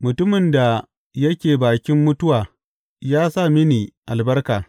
Mutumin da yake bakin mutuwa ya sa mini albarka.